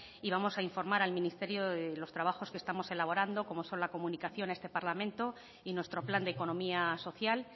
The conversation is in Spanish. y vamos a informar al ministerio de los trabajos que estamos elaborando como son la comunicación a este parlamento y nuestro plan de economía social